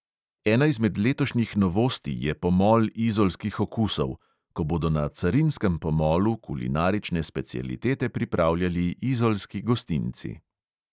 Ena izmed letošnjih novosti je pomol izolskih okusov, ko bodo na carinskem pomolu kulinarične specialitete pripravljali izolski gostinci.